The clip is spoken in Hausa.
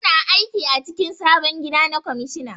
Su na aiki a cikin sabon gida na kwamishina